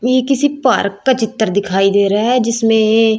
ये किसी पार्क का चित्र दिखाई दे रहा है जिसमें--